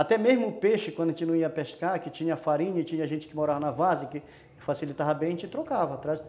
Até mesmo o peixe, quando a gente não ia pescar, que tinha farinha e tinha gente que morava na várzea que facilitava bem, a gente trocava.